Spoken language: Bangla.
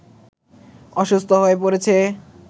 অসুস্থ হয়ে পড়েছে